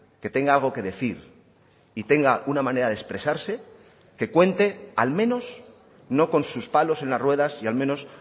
que tenga algo que decir y tenga una manera de expresarse que cuente al menos no con sus palos en las ruedas y al menos